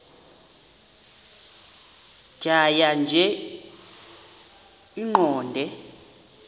tjhaya nje iqondee